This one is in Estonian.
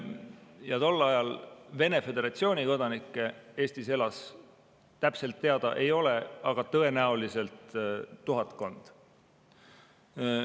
Ja kui palju tol ajal Vene föderatsiooni kodanikke Eestis elas, täpselt teada ei ole, aga tõenäoliselt oli neid tuhatkond.